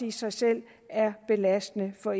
i sig selv er belastende for